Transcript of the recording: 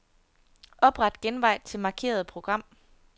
Opret genvej til markerede program.